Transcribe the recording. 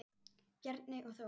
Bjarney og Þór.